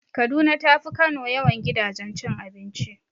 Kaduna tafi Kano yawan gidajen cin abinci.